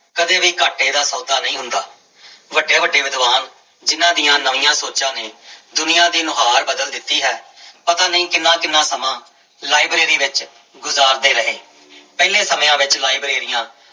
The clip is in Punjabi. ਕਦੇ ਵੀ ਘਾਟੇ ਦਾ ਸੌਦਾ ਨਹੀਂ ਹੁੰਦਾ ਵੱਡੇ ਵੱਡੇ ਵਿਦਵਾਨ ਜਿਹਨਾਂ ਦੀ ਨਵੀਆਂ ਸੋਚਾਂ ਨੇ ਦੁਨੀਆਂ ਦੀ ਨੁਹਾਰ ਬਦਲ ਦਿੱਤੀ ਹੈ ਪਤਾ ਨੀ ਕਿੰਨਾ ਕਿੰਨਾ ਲਾਇਬ੍ਰੇਰੀ ਵਿੱਚ ਗੁਜ਼ਾਰਦੇ ਰਹੇ, ਪਹਿਲੇ ਸਮਿਆਂ ਵਿੱਚ ਲਾਇਬ੍ਰੇਰੀਆਂ